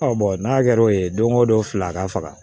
n'a kɛra o ye donko don fila a ka faga